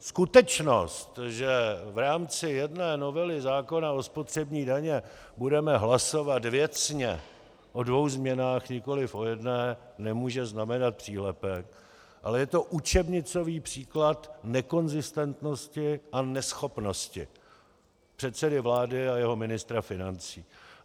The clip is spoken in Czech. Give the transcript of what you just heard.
Skutečnost, že v rámci jedné novely zákona o spotřební dani budeme hlasovat věcně o dvou změnách, nikoliv o jedné, nemůže znamenat přílepek, ale je to učebnicový příklad nekonzistentnosti a neschopnosti předsedy vlády a jeho ministra financí.